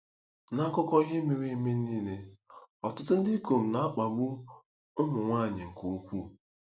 N'akụkọ ihe mere eme nile, ọtụtụ ndị ikom na-akpagbu ụmụ nwanyị nke ukwuu.